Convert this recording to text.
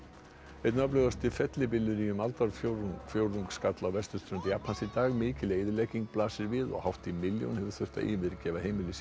einn öflugasti fellibylur í um aldarfjórðung skall á vesturströnd Japans í dag mikil eyðilegging blasir við og hátt í milljón hefur þurft að yfirgefa heimili sín